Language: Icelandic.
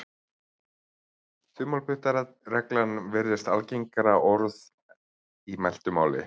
Þumalputtaregla virðist algengara orð í mæltu máli.